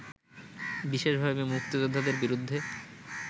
বিশেষভাবে মুক্তিযোদ্ধাদের বিরুদ্ধে